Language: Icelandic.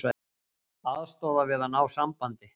Aðstoða við að ná sambandi